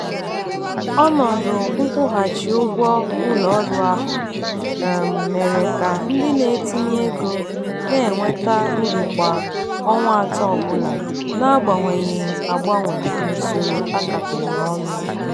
ọnọdụ nkwụghachi ụgwọ ụlọ ọrụ ahụ um mere ka ndị na-etinye ego na-enweta uru kwa ọnwa atọ ọbụla na-agbanweghi agbanwe n'usoro a kapịrị ọnụ.